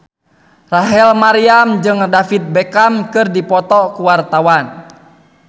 Rachel Maryam jeung David Beckham keur dipoto ku wartawan